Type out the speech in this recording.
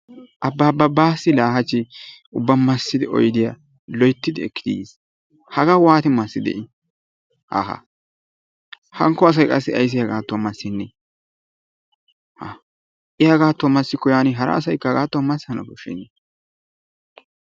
Abbabba Baassi laa hachchi ubba massidi oydiya loyttidi ekki yiis. Hagaa waati massidee I? Haaha hankko asay qa ayssi haggaadan massennee? Haa I hagaadon massikko hara asaykka haggaadn massana koshshennee.